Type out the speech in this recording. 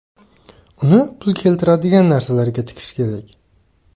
Uni pul keltiradigan narsalarga tikish kerak.